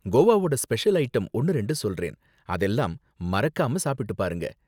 கோவாவோட special item ஒன்னு ரெண்டு சொல்றேன், அதெல்லாம் மறக்காம சாப்பிட்டு பாருங்க.